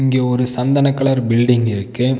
இங்க ஒரு சந்தன கலர் பில்டிங் இருக்கு.